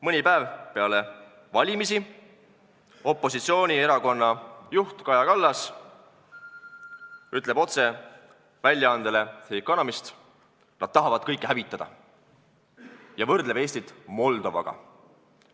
Mõni päev peale valimisi ütles opositsioonierakonna juht Kaja Kallas väljaandele The Economist: "Nad tahavad kõike hävitada," ja võrdles Eestit Moldovaga.